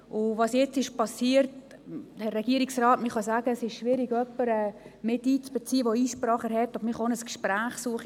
Zu dem, was jetzt geschehen ist: Herr Regierungsrat, man kann sagen, es sei schwierig, jemanden einzubeziehen, der Einsprache erhebt, aber man kann auch das Gespräch suchen.